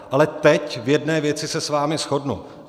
Ale teď v jedné věci se s vámi shodnu.